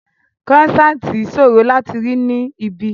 Croissant ṣòro láti rí ní ibí